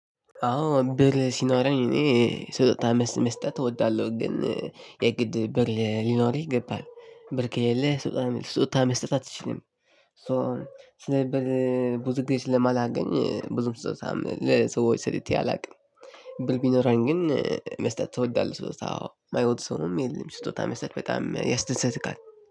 አዎ ብር ሲኖረኝ እኔ ስጦታ መስጠት እወዳለሁ ግን የግድ ብር ሊኖርህ ይገባል ከሌለህ የለህ ስጦታ መስጠት ስጦታ መስጠት አትችልም። ስለዚህ ብር ብዙ ጊዜ ስለማላገኝ ብዙም ስጦታ ለሰዎች ሰጥቸ አላውቅም። ብር ቢኖረኝ ግን መስጠት ትወዳለህ? ስጦታ አዎ የማይወድ ሰውም የለም። ስጦታ መስጠት በጣም ያስደስታል።